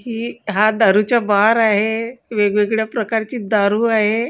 ही हा दारूचा बार आहे वेगवेगळ्या प्रकारची दारू आहे.